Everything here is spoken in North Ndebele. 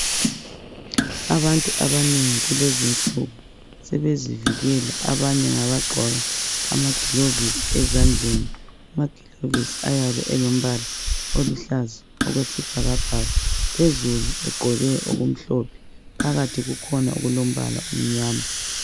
Abantu abanengi kulezi insuku sebezivikela. Abanye ngabagqoka amagilovisi ezandleni. Amagilovisi ayabe elombala oluhlaza okwesibhakabhaka. Phezulu egqoke okumhlophe. Phakathi kukhona okulombala omnyama.